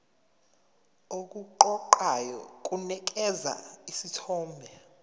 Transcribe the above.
okuqoqayo kunikeza isithombe